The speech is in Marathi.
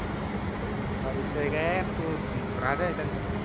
आ विषय काय तू राजा आहे त्यांचा